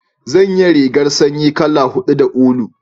zan ya rigar sanyi kala hudu da ulu